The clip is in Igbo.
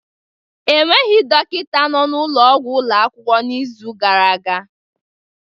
Enweghị dọkịta nọ n'ụlọ ọgwụ ụlọ akwụkwọ n'izu gara aga.